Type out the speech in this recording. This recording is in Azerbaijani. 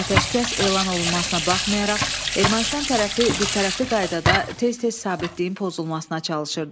Ateşkəs elan olunmasına baxmayaraq, Ermənistan tərəfi birtərəfli qaydada tez-tez sabitliyin pozulmasına çalışırdı.